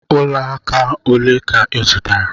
Olaaka ole ka ọ zụtara?